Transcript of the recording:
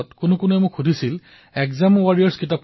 কিন্তু তেতিয়াই গৈ মই কিতাপখন কিনিলো আৰু সেইখন ২৩বাৰ পঢ়িলো